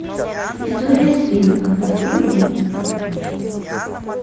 история свинок открой мне